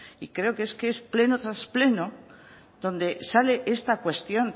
y creo que es que es pleno tras pleno donde sale esta cuestión